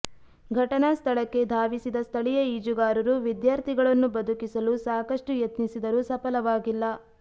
ಘಟನಾ ಸ್ಥಳಕ್ಕೆ ಧಾವಿಸಿದ ಸ್ಥಳೀಯ ಈಜುಗಾರರು ವಿದ್ಯಾರ್ಥಿಗಳನ್ನು ಬದುಕಿಸಲು ಸಾಕಷ್ಟು ಯತ್ನಿಸಿದರೂ ಸಫಲವಾಗಿಲ್ಲ